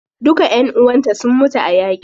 Duka ƴan uwanta sun mutu a yaƙi.